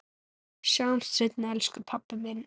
Sjáumst seinna elsku pabbi minn.